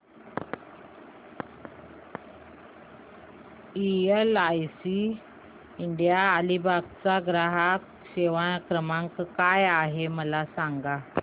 LIC India Alibag चा ग्राहक सेवा क्रमांक काय आहे मला सांगा